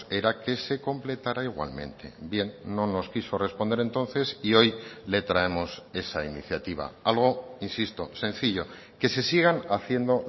era que se completara igualmente bien no nos quiso responder entonces y hoy le traemos esa iniciativa algo insisto sencillo que se sigan haciendo